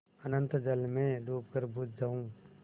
अनंत जल में डूबकर बुझ जाऊँ